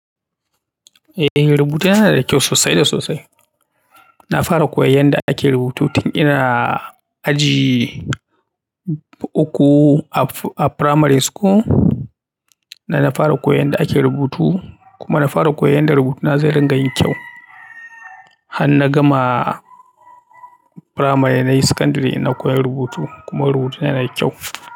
Eh rubutuna na da kyau sosai da sosai. Na fara koyon yadda ake rubutu tun ina aji ukku a primary school. Na fara koyon yadda ake rubutu kuma na fara koyon yadda rubutuna zai ringa yin kyau. Han na gama primary nayi secondary na koyi rubutu kuma rubutuna yana da kyau.